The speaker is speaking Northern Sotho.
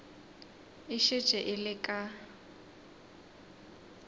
e šetše e le ka